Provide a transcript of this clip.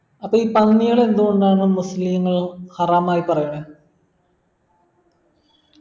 അപ്പൊ ഈ പന്നികൾ എന്തോണ്ടാണ് മുസ്ലിങ്ങൾ ഹറാമായി പറയുന്നെ